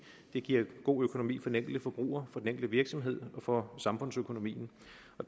det giver god økonomi for den enkelte forbruger for den enkelte virksomhed og for samfundsøkonomien